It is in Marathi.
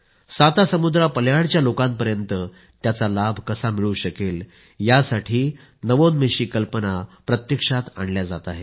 सातासमुद्रापल्याडच्या लोकांपर्यंत त्याचा लाभ कसा मिळू शकेल यासाठीही नवोन्मेषी कल्पना प्रत्यक्षात आणल्या जात आहेत